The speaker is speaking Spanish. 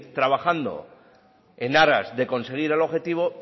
trabajando en aras de conseguir el objetivo